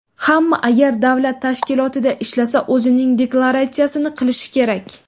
Hamma, agar davlat tashkilotida ishlasa, o‘zining deklaratsiyasini qilishi kerak.